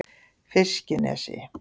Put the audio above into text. Fiskinesi